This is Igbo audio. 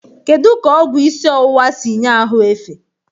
Kedu ka ọgwụ isi ọwụwa si nye ahụ efe?